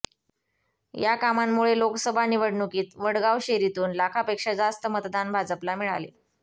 या कामांमुळे लोकसभा निवडणुकीत वडगावशेरीतून लाखापेक्षा जास्त मतदान भाजपला झाले